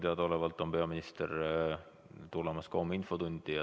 Minule teadaolevalt tuleb peaminister homme infotundi.